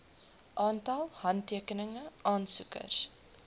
aantal handtekeninge aansoeker